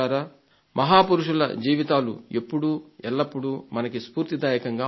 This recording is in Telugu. మహాపురుషుల జీవితాలు ఎప్పుడూ ఎల్లప్పుడూ మనకి స్ఫూర్తిదాయకంగా ఉంటాయి